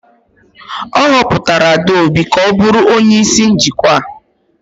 A họpụtara Adaobi ka ọ bụrụ onye isi njikwa.